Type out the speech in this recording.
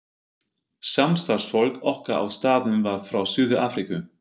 Samstarfsfólk okkar á staðnum var frá Suður-Afríku.